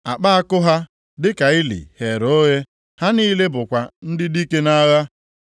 Akpa àkụ ha dịka ili ghere oghe; ha niile bụkwa ndị dike nʼagha.